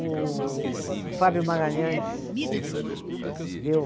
O Fábio Magalhães. Uhum. Deu